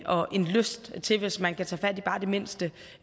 og en lyst til hvis man kan tage fat i bare det mindste